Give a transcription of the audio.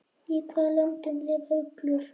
Í hvaða löndum lifa uglur?